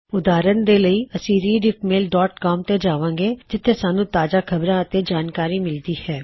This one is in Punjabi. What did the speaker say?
ਉਦਾਹਰਨ ਦੇ ਲਈ ਅਸੀ ਰੀਡਿੱਫਮੇਲ ਡੌਟ ਕੌਮ rediffmailਸੀਓਐਮ ਤੇ ਜਾਵਾਂਗੇ ਜਿੱਥੇ ਸਾੱਨ੍ਹੂੰ ਤਾਜ਼ਾ ਖਬਰਾਂ ਅਤੇ ਜਾਣਕਾਰੀ ਮਿਲਦੀ ਹੈ